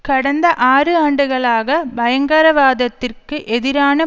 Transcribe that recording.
கடந்த ஆறு ஆண்டுகளாக பயங்கரவாதத்திற்கு எதிரான